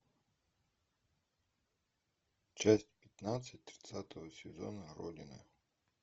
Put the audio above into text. часть пятнадцать тридцатого сезона родины